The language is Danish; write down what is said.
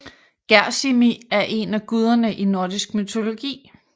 Gersimi er en af guderne i nordisk mytologi